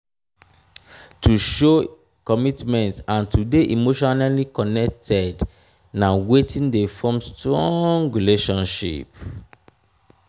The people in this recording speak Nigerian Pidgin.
to show commitment and to de emotionally connected na wetin de form strong relationship